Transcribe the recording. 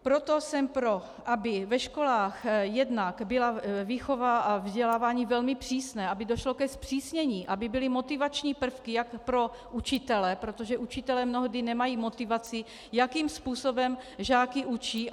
Proto jsem pro, aby ve školách jednak byla výchova a vzdělávání velmi přesné, aby došlo ke zpřísnění, aby byly motivační prvky jak pro učitele, protože učitelé mnohdy nemají motivaci, jakým způsobem žáky učí.